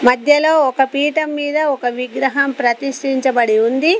మధ్యలో ఒక పీఠం మీద ఒక విగ్రహం ప్రతిష్టించబడి ఉంది.